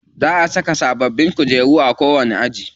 Za a saka sababbin kujeru a kowani aji.